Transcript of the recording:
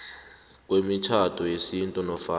kwemitjhado yesintu nofana